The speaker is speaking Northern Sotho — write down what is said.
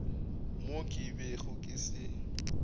mo ke bego ke se